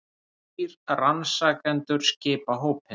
Þrír rannsakendur skipa hópinn